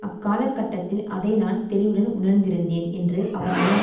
அக்கால கட்டத்தில் அதை நான் தெளிவுடன் உணர்ந்திருந்தேன் என்று அவர் நினைவு